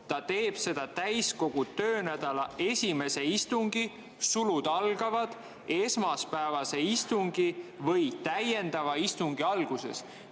Ta teeb seda täiskogu töönädala esimese istungi või täiendava istungi alguses.